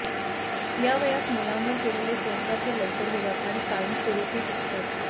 या वयात मुलांवर केलेले संस्कार हे लवकर होतात आणि कायमस्वरूपी टिकतात